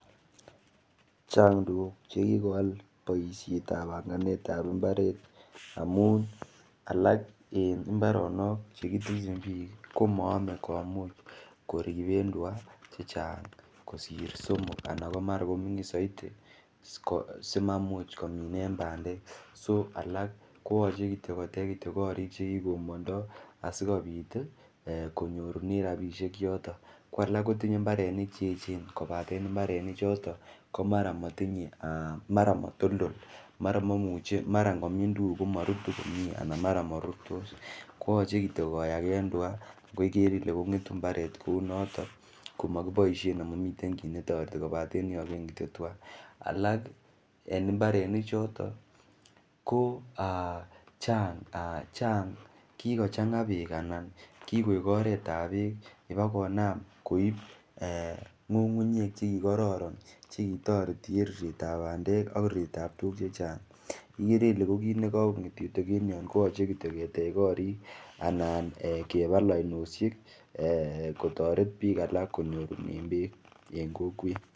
Chang tukuk chekikowal boishet ap panganet ap imbaret amun alak eng imbaronok chekitinye piik komayamei komuch koripen tuka chechang kosir somok anan mara komining zaidi simaimuch kominen pandek k so alak koyochei kotech kityo korik chekikomboondoi asikopit konyorune ropishek yoto ko alak kotinyei mbarenik cheechen kopaten imbarenik choto komara matinyei ,mara matoltol mara ngimin minutik komarutu komie koyochei kityo koyaken tuka alak en imbarenichoto ko chang kikochanga peek alan kikoek oret ap peek nepokonam koip ng'ung'unyek chekikororon chetoreti eng' ruret ap pandek ara ko tukuk chechang ikere ile ko kiit nikakonget koyochei kityo ketech korik anan kewal oinoshek kotoret piik alak konyor peek eng kokwet